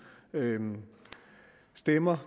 stemmer